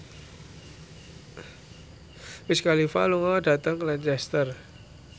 Wiz Khalifa lunga dhateng Lancaster